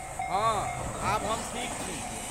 हँ, आब हम ठीक छी।